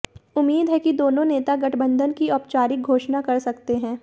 उम्मीद है कि दोनों नेता गठबंधन की औपचारिक घोषण कर सकते हैं